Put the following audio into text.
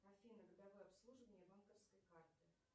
афина годовое обслуживание банковской карты